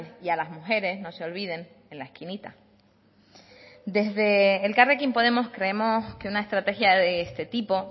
y a las mujeres no se olviden en la esquinita desde elkarrekin podemos creemos que una estrategia de este tipo